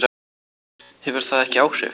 Hefur það ekki áhrif?